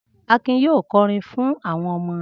Akin yóò kọrin fún àwọn ọmọ rẹ̀.